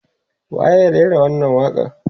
waye ya rera wannan waƙa n